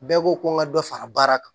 Bɛɛ ko ko n ka dɔ fara baara kan